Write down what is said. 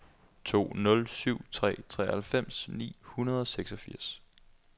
to nul syv tre treoghalvfems ni hundrede og seksogfirs